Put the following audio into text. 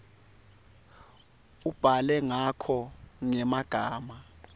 ubhale ngako ngemagama